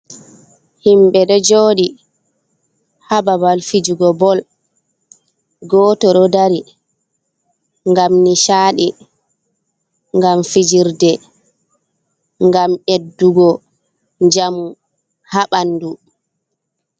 Himɓe ɗo jooɗi haa babal fijugo bol ,gooto ɗo dari ngam nicaaɗi, ngam fijirde, ngam ɓeddugo njamu haa ɓanndu.